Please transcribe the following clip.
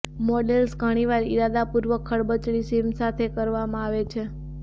models ઘણીવાર ઇરાદાપૂર્વક ખરબચડી સીમ સાથે કરવામાં આવે છે